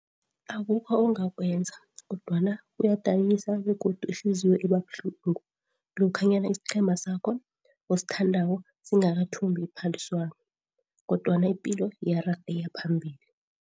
Akukho ongakwenza kodwana kuyadinisa begodu ihliziyo ibabuhlungu lokhanyana isiqhema sakho osithandako singakathumbi iphaliswano, kodwana ipilo iyaraga iya phambili.